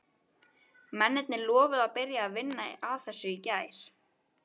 Mennirnir lofuðu að byrja að vinna að þessu í gær.